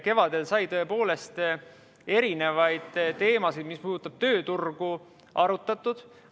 Kevadel sai tõepoolest erinevaid teemasid, mis puudutavad tööturgu, arutatud.